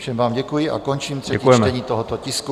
Všem vám děkuji a končím třetí čtení tohoto tisku.